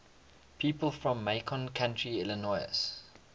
people from macon county illinois